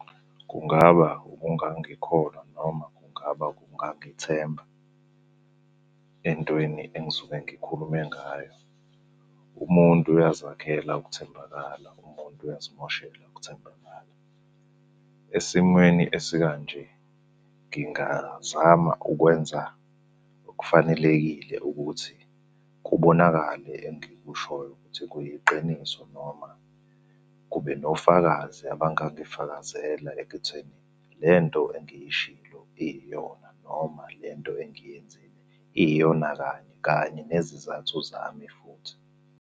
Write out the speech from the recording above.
Kungaba ukungangikholwa noma kungaba ukungangithemba entweni engisuke ngikhulume ngayo. Umuntu uyazakhela ukuthembakala, umuntu uyazimoshela ukuthembakala. Esimweni esikanje, ngingazama ukwenza okufanelekile ukuthi kubonakale engikushoyo ukuthi kuyiqiniso noma kube nofakazi abangangifakazela ekutheni lento engiyishilo iyona noma le nto engiyenzile. Iyona kanye, kanye nezizathu zami futhi.